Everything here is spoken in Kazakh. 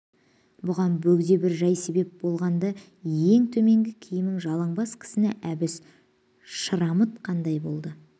бұған бөгде бір жай себеп болған-ды ең төменгі киімді жалаң бас кісіні әбіш шырамытқандай болды